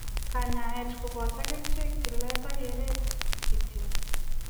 Kanyaaet kopotoo kerichek, tileet ak kereet kityo